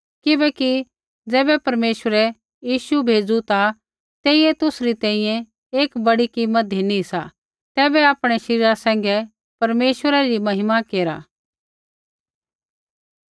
किबैकि ज़ैबै परमेश्वरै यीशु बै भेज़ू ता तेइयै तुसरी तैंईंयैं एक बड़ी कीमत धिनी सा तैबै आपणै शरीरा सैंघै परमेश्वरै री महिमा केरा